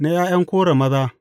Na ’ya’yan Kora maza.